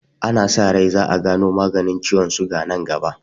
Ana sa rai za'a gano maganin ciwon suga nan gaba.